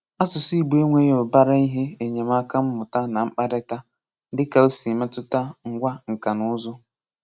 Asụ̀sụ́ Ìgbò enweghí ùbàrá ihe enyèmàka mmụ̀tà na mkpárịta, dị́ka o si métùtà ngwa nka na ùzù́.